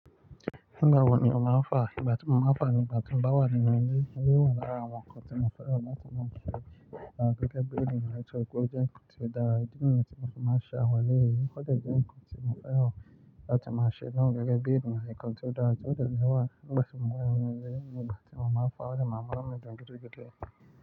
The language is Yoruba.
Igba wo ni o máa ń fà, ìgbà tí mo máa ń fà ní ìgbà tí ń bá wà ní nu ilé, ile, o wà lára àwọn nǹkan tí mo fẹ́ mọ́ bí mo ṣe gẹ́gẹ́ bí ìrìnnà eto kò jẹ́ nkan ti o da. Idi niyẹn tí mo fi máa n ṣe àwon eleyi Ó jẹ́ nkan ti mọ feran lati maa se naa gẹ́gẹ́ bí eniyan, nkan ti o dara ni. Ó dẹ́ niwà, ìgbà tí mo wo inu ilé, ìgbà tí mo máa ń pà, ó ní màá munu mi dun gidigidi.